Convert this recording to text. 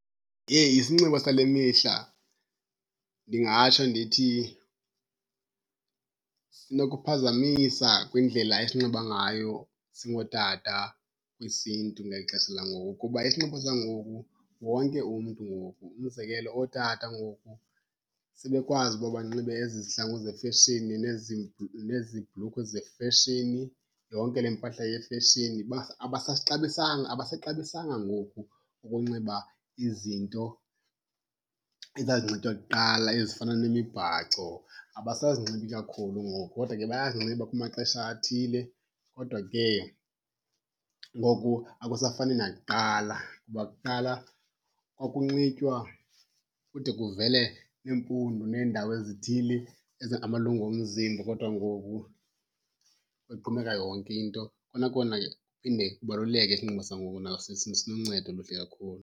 Heyi, isinxibo sale mihla ndingatsho ndithi sinokuphazamisa kwindlela esinxiba ngayo singootata kwisiNtu ngeli xesha langoku. Kuba isinxibo sangoku wonke umntu ngoku, umzekelo ootata ngoku sebekwazi uba banxibe ezi zihlangu zefeshini nezi nezi bhlukhwe zefeshini, yonke le mpahla yefeshini. Abasasixabisanga abasaxabisanga ngoku ukunxiba izinto ezazinxitywa kuqala ezifana nemibhaco, abasazinxibi kakhulu ngoku. Kodwa ke bayazinxiba kumaxesha athile kodwa ke ngoku akusafani nakuqala kuba kuqala kwakunxitywa kude kuvele iimpundu neendawo ezithile ezingamalungu omzimba kodwa ngoku kugqumeka yonke into. Kona kona kuphinde kubaluleke isinxibo sangoku, naso siluncedo oluhle kakhulu.